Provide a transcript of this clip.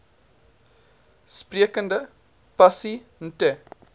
sprekende pasi nte